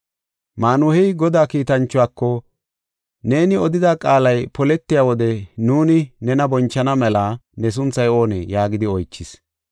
Maanuhey Godaa kiitanchuwako, “Neeni odida qaalay poletiya wode nuuni nena bonchana mela ne sunthay oonee?” yaagidi oychis.